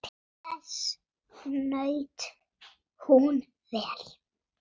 Göngum saman götuna til góðs.